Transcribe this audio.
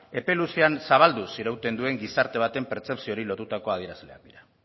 epe luzean zabalduz irauten duen gizarte baten pertzepzioari lotutako adierazlean dira